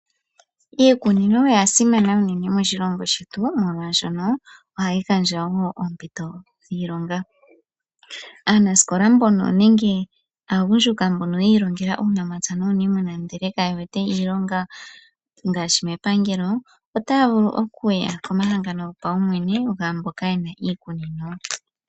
Iikunino oyasimana uunene moshilongo shetu molwashono ohayi gandja wo oompito dhiilonga, aanasikola mbono nenge aagundjuka mbono yiilongela uunamapya nuuniimuna ndele kayewete iilonga ngaashi mepangelo, otaya vulu okuya komahangano gopawumwene gaamboka yena iikunino.